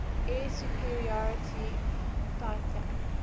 air superiority fighter